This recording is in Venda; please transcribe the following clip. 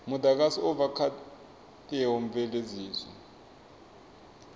mudagasi u bva kha theomveledziso